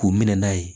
K'u minɛ n'a ye